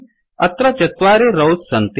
अत्र चत्वारि रौस् सन्ति